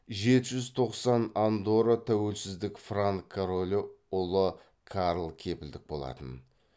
жеті жүз тоқсан андорра тәуелсіздік франк королі ұлы карл кепілдік болатын